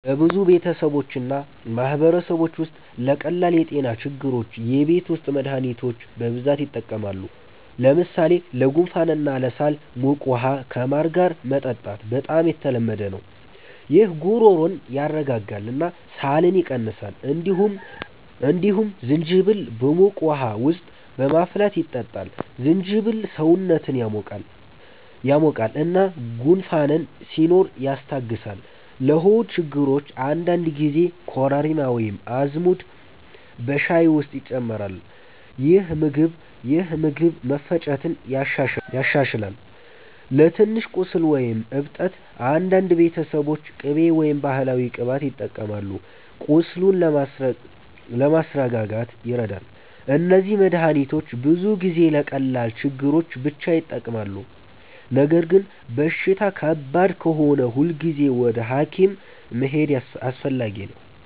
በብዙ ቤተሰቦች እና ማህበረሰቦች ውስጥ ለቀላል የጤና ችግሮች የቤት ውስጥ መድሃኒቶች በብዛት ይጠቀማሉ። ለምሳሌ ለጉንፋን እና ለሳል ሞቅ ውሃ ከማር ጋር መጠጣት በጣም የተለመደ ነው። ይህ ጉሮሮን ያስረጋጋል እና ሳልን ይቀንሳል። እንዲሁም ዝንጅብል በሞቅ ውሃ ውስጥ በማፍላት ይጠጣል። ዝንጅብል ሰውነትን ያሞቃል እና ጉንፋን ሲኖር ያስታግሳል። ለሆድ ችግሮች አንዳንድ ጊዜ ኮረሪማ ወይም አዝሙድ በሻይ ውስጥ ይጨመራል፣ ይህም ምግብ መፈጨትን ያሻሽላል። ለትንሽ ቁስል ወይም እብጠት አንዳንድ ቤተሰቦች ቅቤ ወይም ባህላዊ ቅባት ይጠቀማሉ፣ ቁስሉን ለማስረጋጋት ይረዳል። እነዚህ መድሃኒቶች ብዙ ጊዜ ለቀላል ችግሮች ብቻ ይጠቅማሉ። ነገር ግን በሽታ ከባድ ከሆነ ሁልጊዜ ወደ ሐኪም መሄድ አስፈላጊ ነው።